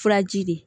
Furaji de ye